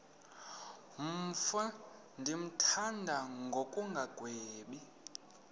mfo ndimthanda ngokungagwebi